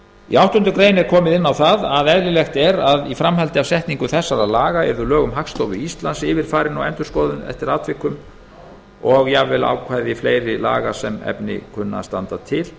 í áttundu grein er komið inn á að eðlilegt er að í framhaldi af setningu laga þessara yrðu lög um hagstofu íslands yfirfarin og endurskoðuð eftir atvikum og jafnvel ákvæði fleiri laga sem efni kunna að standa til